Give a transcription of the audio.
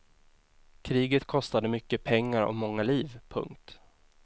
Kriget kostade mycket pengar och många liv. punkt